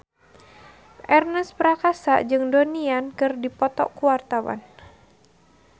Ernest Prakasa jeung Donnie Yan keur dipoto ku wartawan